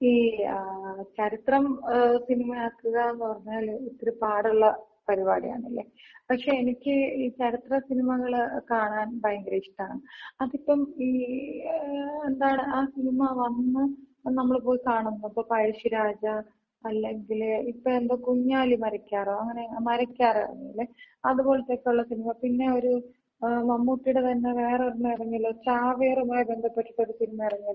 ഈ ചരിത്രം സിനിമയാക്കുക ന്ന് പറഞ്ഞാല് ഇത്തിരി പാടുള്ള പരിപാടിയാണല്ലേ? പക്ഷെ എനിക്ക് ഈ ചരിത്ര സിനിമകള് കാണാൻ ഭയങ്കര ഇഷ്ടാണ്. അതിപ്പം ഈ എന്താണ് ആ സിനിമ വന്ന് നമ്മള് പോയി കാണും. ഇപ്പോ പഴശിരാജ അല്ലെങ്കില് ഇപ്പോ എന്തോ കുഞ്ഞാലിമരക്കാരോ, അങ്ങനെ മരക്കാറിറങ്ങീലെ? അത് പോലെത്തെയൊക്കെയുള്ള സിനിമ. പിന്നൊര് മമ്മൂട്ടിടെ തന്നെ വേറൊരെണ്ണം ഇറങ്ങിയല്ലോ ചാവേറുമായി ബന്ധപ്പെട്ടിട്ട് ഒരു സിനിമ ഇറങ്ങിയല്ലോ, ഈ അടുത്ത കാലത്ത്.